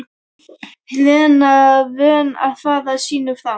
Lena vön að fara sínu fram.